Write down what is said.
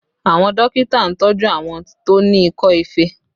Àwọn dókítà ń tọju àwọn tó ní ikọ́ ife